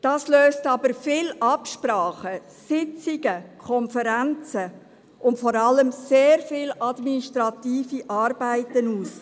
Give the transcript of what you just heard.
Das löst aber viel Absprachen, Sitzungen, Konferenzen und vor allem sehr viele administrative Arbeiten aus.